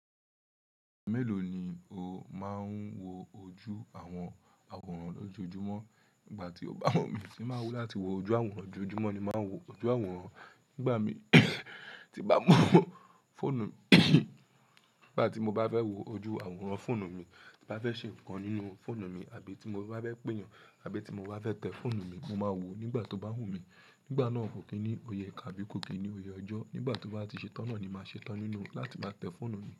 Mélòó ni o máa ń wo ojú àwọn àwòrán lójoojúmọ́ nígbà tí o bá wù mí, ṣé máa wù láti wo ojú àwòrán lójoojúmọ́ ni máa ń wo ojú àwòrán nígbà tí bá wo fọ́nù mi. Nígbà tí mo bá fẹ́ wo ojú àwòrán fóònù mi, tí bá fẹ́ ṣe nǹkan nínú fóònù mi àbí tí mo bá fẹ́ pe èyàn àbí tí mo bá fẹ́ tẹ fóònù mi, mo máa wò ó nígbà tó bá wù mí. Nígbà náà kò kí ní òye ìka bí kò kí ní òye ọjọ́. Nígbà tó bá ti ṣe tán náà ni màá ṣe tán nínú láti máa tẹ́ fóònù mi.